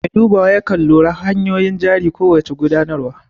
Mai dubawa yakan lura hanun jarin ko wace gudanarwa